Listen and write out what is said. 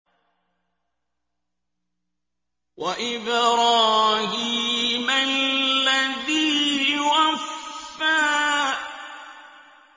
وَإِبْرَاهِيمَ الَّذِي وَفَّىٰ